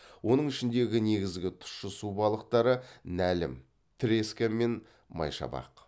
оның ішіндегі негізгі тұщы су балықтары нәлім мен майшабақ